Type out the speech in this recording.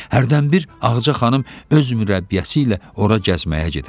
Hərdənbir Ağaca xanım öz mürəbbiyəsi ilə ora gəzməyə gedərdi.